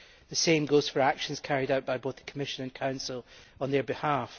The same goes for actions carried out by both the Commission and Council on their behalf.